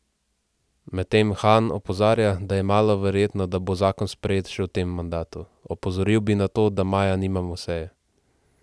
Medtem Han opozarja, da je malo verjetno, da bo zakon sprejet še v tem mandatu: "Opozoril bi na to, da maja nimamo seje.